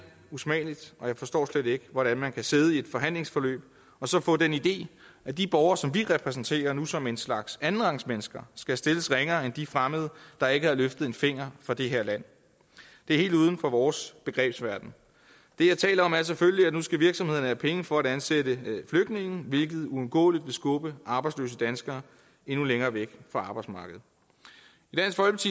usmageligt og jeg forstår slet ikke hvordan man kan sidde i et forhandlingsforløb og så få den idé at de borgere som vi repræsenterer nu som en slags andenrangsmennesker skal stilles ringere end de fremmede der ikke har løftet en finger for det her land det er helt uden for vores begrebsverden det jeg taler om er selvfølgelig at nu skal virksomhederne have penge for at ansætte flygtninge hvilket uundgåeligt vil skubbe arbejdsløse danskere endnu længere væk fra arbejdsmarkedet